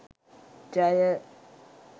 ජය